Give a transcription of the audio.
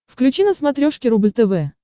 включи на смотрешке рубль тв